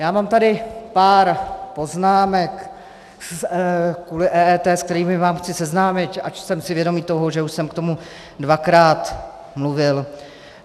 Já mám tady pár poznámek kvůli EET, s kterými vás chci seznámit, ač jsem si vědom toho, že už jsem k tomu dvakrát mluvil.